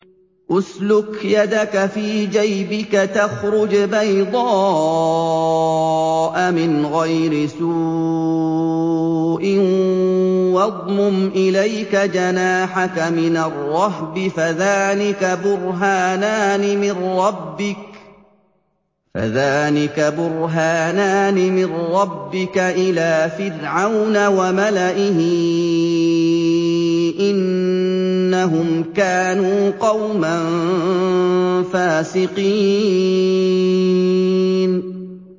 اسْلُكْ يَدَكَ فِي جَيْبِكَ تَخْرُجْ بَيْضَاءَ مِنْ غَيْرِ سُوءٍ وَاضْمُمْ إِلَيْكَ جَنَاحَكَ مِنَ الرَّهْبِ ۖ فَذَانِكَ بُرْهَانَانِ مِن رَّبِّكَ إِلَىٰ فِرْعَوْنَ وَمَلَئِهِ ۚ إِنَّهُمْ كَانُوا قَوْمًا فَاسِقِينَ